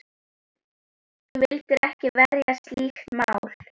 Þú vildir ekki verja slíkt mál.